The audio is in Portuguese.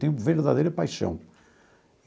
Tenho verdadeira paixão.